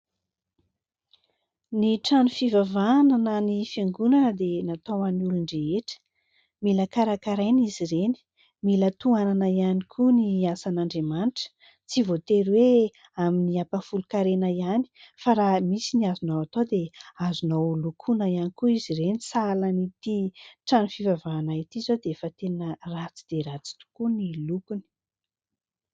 Ny trano fivavahana na ny fiangonana dia natao ho an'ny olon-drehetra. Mila karakaraina izy ireny, mila tohanana ihany koa ny asan'Andriamanitra ; tsy voatery hoe amin'ny ampahafolon-karena ihany fa raha misy ny azonao atao dia azonao lokoina ihany koa izy ireny. Sahala an'ity trano fivavahana ity izao dia efa tena ratsy dia ratsy tokoa ny lokony.